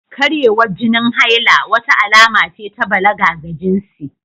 Karyewar jinin haila, wata alama ce ta balaga ga jinsi biyu